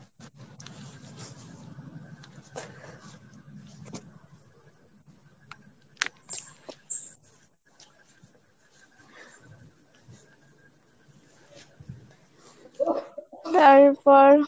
তারপর